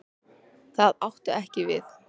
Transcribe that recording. Það átti ekki við.